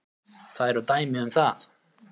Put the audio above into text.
Það eru dæmi um það.